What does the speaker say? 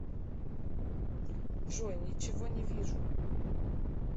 джой ничего не вижу